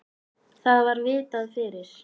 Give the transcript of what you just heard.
Það var vitað fyrir.